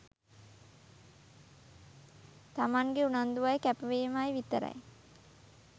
තමන්ගෙ උනන්දුවයි කැපවීමයි විතරයි.